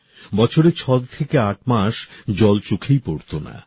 বছরে ছয় থেকে আট মাস জল চোখেই পড়তো না